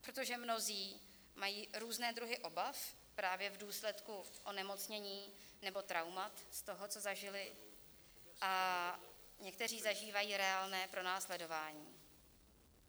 Protože mnozí mají různé druhy obav, právě v důsledku onemocnění nebo traumat, z toho, co zažili, a někteří zažívají reálné pronásledování.